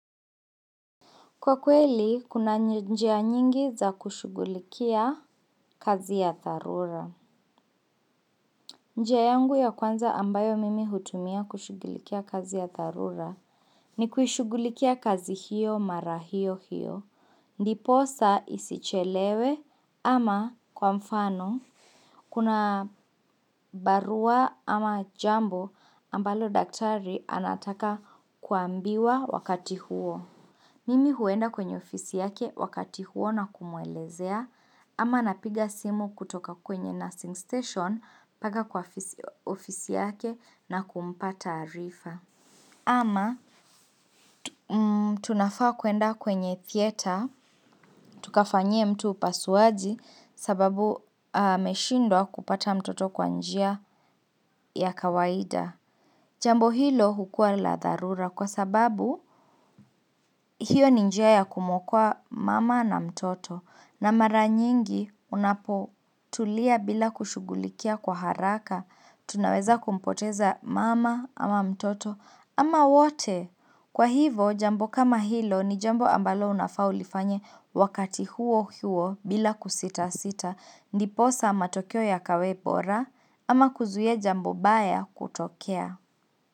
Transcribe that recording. Kwa kweli, kuna njia nyingi za kushughulikia kazi ya dharura. Njia yangu ya kwanza ambayo mimi hutumia kushugulikia kazi ya dharura ni kushughulikia kazi hiyo mara hio hiyo, ndipo sa isichelewe ama kwa mfano, kuna barua ama jambo ambalo daktari anataka kuambiwa wakati huo. Mimi huenda kwenye ofisi yake wakati huo na kumwelezea ama napiga simu kutoka kwenye nursing station mpaka kwa ofisi yake na kumpa taarifa. Ama tunafaa kuenda kwenye theater, tukafanyie mtu upasuaji sababu ameshindwa kupata mtoto kwanjia ya kawaida. Jambo hilo hukua la dharura kwa sababu hiyo ni njia kumu okoa mama na mtoto na mara nyingi unapo tulia bila kushughulikia kwa haraka tunaweza kumpoteza mama ama mtoto ama wote. Kwa hivyo jambo kama hilo ni jambo ambalo unafa ulifanye wakati huo huo bila kusita sita ndiposa matokeo yakawe bora ama kuzuia jambo baya kutokea.